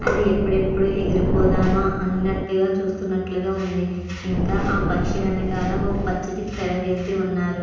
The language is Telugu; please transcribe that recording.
ఆది ఎప్పుడు ఎప్పుడు ఎగిరి పోదమా అన్నట్టు గా చూస్తున్నట్లు గా ఉంది ఇంకా ఆ పక్షి వెనకాల ఓ పచ్చటి తేరా వేసి ఉన్నారు.